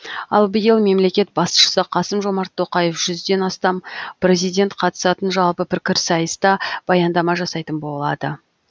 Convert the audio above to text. ал биыл мемлекет басшысы қасым жомарт тоқаев жүзден астам президент қатысатын жалпы пікірсайыста баяндама жасайтын болады